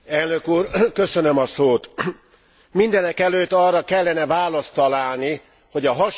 Mindenekelőtt arra kellene választ találni, hogy a hasonló válságok hogyan kerülhetők el.